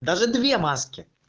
даже две маски